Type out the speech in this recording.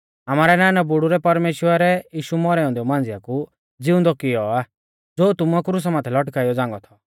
आमारै नानाबुड़ु रै परमेश्‍वरै यीशु मौरै औन्देऊ मांझ़िया कु ज़िउंदौ कियौ आ ज़ो तुमुऐ क्रुसा माथै लटकाई औ झ़ांगौ थौ